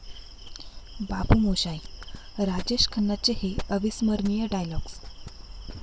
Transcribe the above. बाबू मोशाय...'राजेश खन्नांचे हे अविस्मरणीय डायलॉग्ज